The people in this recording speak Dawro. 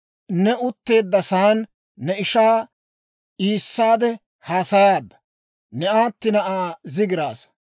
Ne utteeddasaan ne ishaa iissaade haasayaadda; ne aatti na'aa zigiraasa.